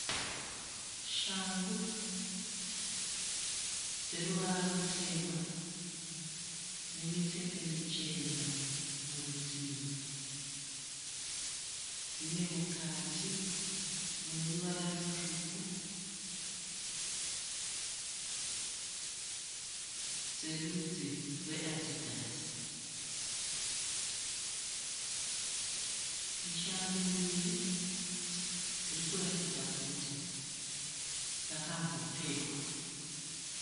Shangu dzeruvara rutema nemitsetse michena murutivi dzinemukati muneruvara rutsvuku, dzerudzi rweadhidhasi. Ishangu mbiri dzirikuratidza kuti dzakambopfekwa.